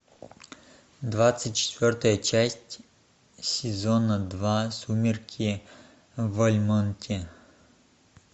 двадцать четвертая часть сезона два сумерки в вальмонте